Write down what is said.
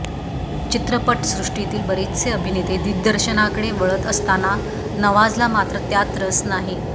चित्रपटसृष्टीतील बरेच अभिनेते दिग्दर्शनाकडे वळत असताना नवाजला मात्र त्यात रस नाही